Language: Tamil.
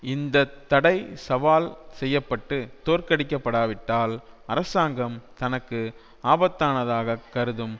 இந்த தடை சவால் செய்ய பட்டு தோற்கடிக்கப்படாவிட்டால் அரசாங்கம் தனக்கு ஆபத்தானதாகக் கருதும்